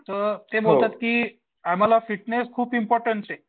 तर ते बोलतात की आम्हाला फिटनेस खूप इम्पॉरटंट आहे.